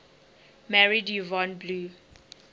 married yvonne blue